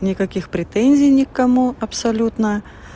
никаких претензий никому абсолютно